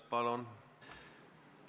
Palun!